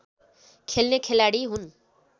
खेल्ने खेलाडी हुन्